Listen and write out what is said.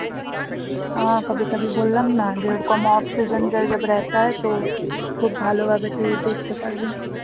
বললাম না যে ওরকম off season খুব ভালো ভাবে তুই দেখতে পারবি